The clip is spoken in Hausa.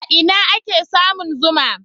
A ina ake samun zuma?